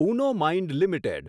Uno mind limited